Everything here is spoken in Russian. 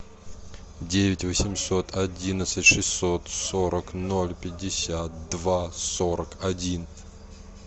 девять восемьсот одиннадцать шестьсот сорок ноль пятьдесят два сорок один